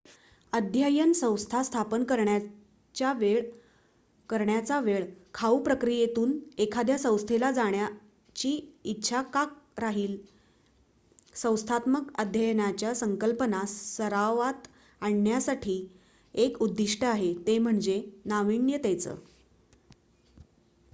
अध्ययन संस्था स्थापन करण्याच्या वेळ खाऊ प्रक्रियेतून एखाद्या संस्थेला जाण्याची इच्छा का राहील संस्थात्मक अध्ययनाच्या संकल्पना सरावात आणण्यासाठी एक उद्दिष्ट आहे ते म्हणजे नाविन्यतेचं